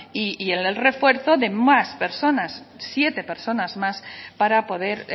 y en el refuerzo de más personas siete personas más para poder